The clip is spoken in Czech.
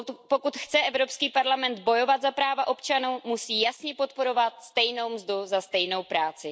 Pokud chce Evropský parlament bojovat za práva občanů, musí jasně podporovat stejnou mzdu za stejnou práci.